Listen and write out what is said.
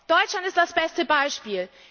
Deutschland ist das beste Beispiel.